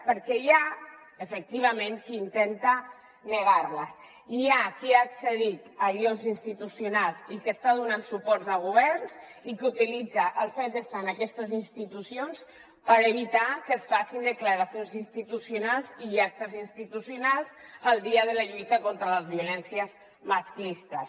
perquè hi ha efectivament qui intenta negar les hi ha qui ha accedit a llocs institucionals i que està donant suport a governs i que utilitza el fet d’estar en aquestes institucions per evitar que es facin declaracions institucionals i actes institucionals el dia de la lluita contra les violències masclistes